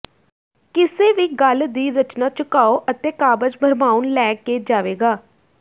ਕਿਸੇ ਵੀ ਗੱਲ ਦੀ ਰਚਨਾ ਝੁਕਾਓ ਅਤੇ ਕਾਬਜ਼ ਭਰਮਾਉਣ ਲੈ ਕੇ ਜਾਵੇਗਾ